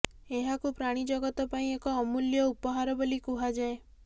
ଏହାକୁ ପ୍ରାଣୀଜଗତ ପାଇଁ ଏକ ଅମୂଲ୍ୟ ଉପହାର ବୋଲି କୁହାଯାଏ